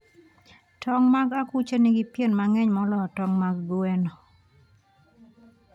Tong' mag akuche nigi pien mang'eny moloyo tong' mag gweno.